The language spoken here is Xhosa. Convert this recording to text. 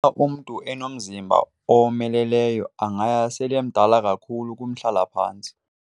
Xa umntu enomzimba owomeleleyo angaya selemdala kakhulu kumhlalaphantsi.